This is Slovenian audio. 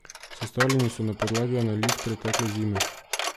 Sestavljeni so na podlagi analiz pretekle zime.